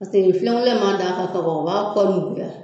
Paseke filen kolon in ma d'a kan ka ban o b'a kɔ nuguya